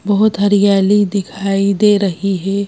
बहुत हरियाली दिखाई दे रही है।